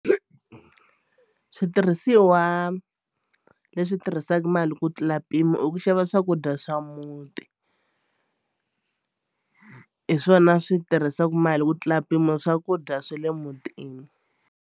Switirhisiwa leswi tirhisaka mali ku tlula mpimo i ku xava swakudya swa muti hi swona swi tirhisaka mali ku tlula mpimo swakudya swa le mutini.